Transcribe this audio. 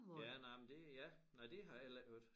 Ja nej men det ja nej det har jeg heller ikke hørt